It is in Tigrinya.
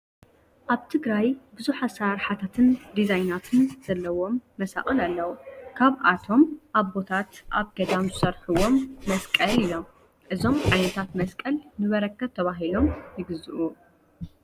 ኣብ ትግራይ ብዙሕ አሰራርሓታትን ድዛይናትን ዘለዎም መሳቅል ኣለው። ካብኣቶም ኣቦታት ኣብ ገዳም ዝሰርሕዎም መሳቅል እዮም። እዞም ዓይነታት መሳቅል ንበረከት ተባሂሎም ይግዝኡ።